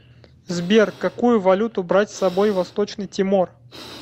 сбер какую валюту брать с собой в восточный тимор